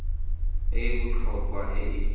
e e botlhokwa e e